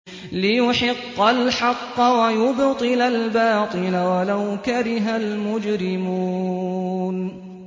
لِيُحِقَّ الْحَقَّ وَيُبْطِلَ الْبَاطِلَ وَلَوْ كَرِهَ الْمُجْرِمُونَ